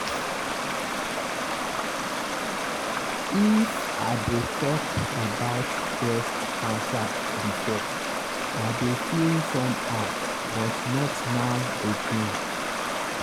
if i dey talk about breast cancer before i dey feel somehow but not now again.